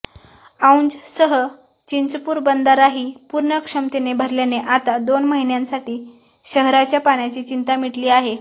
औजसह चिंचपूर बंधाराही पूर्ण क्षमतेने भरल्याने आता दोन महिन्यांसाठी शहराच्या पाण्याची चिंता मिटली आहे